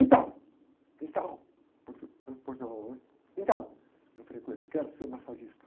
Então, então, portu, né? Portunhol, né? Eu falei com ele, quero ser massagista.